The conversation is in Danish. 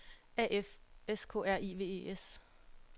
A F S K R I V E S